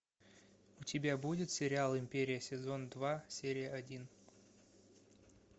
у тебя будет сериал империя сезон два серия один